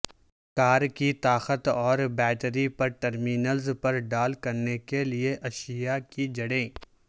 کار کی طاقت اور بیٹری پر ٹرمینلز پر ڈال کرنے کے لئے اشیاء کی جڑیں